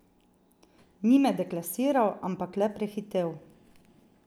Ni me deklasiral, ampak le prehitel.